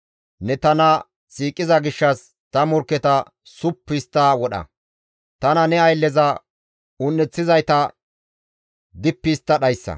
Ne tana siiqiza gishshas ta morkketa suppu histta wodha; tana ne aylleza un7eththizayta dippi histta dhayssa.